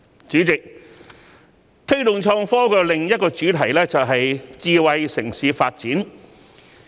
主席，推動創科的另一主題是智慧城市發展。